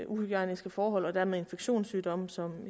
uhygiejniske forhold og dermed infektionssygdomme som